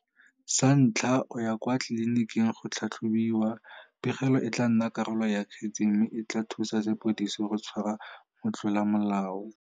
Sa ntlha, o ya kwa tliliniking go tlhatlhobiwa. Pegelo e tla nna karolo ya kgetse mme e tla thusa sepodisi go tshwara motlolamolao.